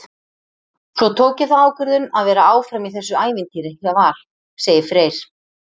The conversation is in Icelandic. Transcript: Svo tók ég þá ákvörðun að vera áfram í þessu ævintýri hjá Val, segir Freyr.